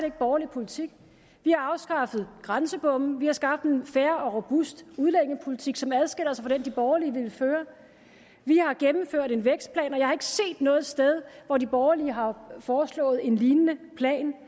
ikke borgerlig politik vi har afskaffet grænsebomme vi har skabt en fair og robust udlændingepolitik som adskiller sig fra den de borgerlige ville føre vi har gennemført en vækstplan og jeg har ikke set noget sted hvor de borgerlige har foreslået en lignende plan